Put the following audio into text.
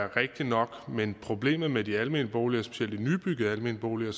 rigtigt nok men problemet med de almene boliger specielt de nybyggede almene boliger